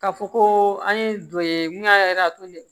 Ka fɔ ko an ye dɔ ye mun y'a de ye